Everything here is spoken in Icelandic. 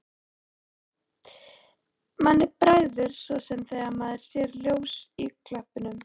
Manni bregður svo sem þegar maður sér ljós í klöppunum.